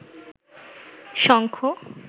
শঙ্খ